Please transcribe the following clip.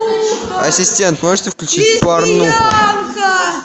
ассистент можете включить порнуху